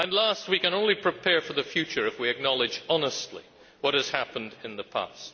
Lastly, we can only prepare for the future if we acknowledge honestly what has happened in the past.